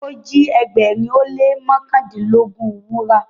o ji ẹgbẹrin o le mọkandinlogun wúrà.